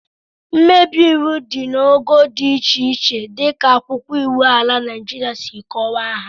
Mmebi iwu dị n'ogo dị iche iche dịka akwụkwọ iwu ala Naịjiria si kọwaa ha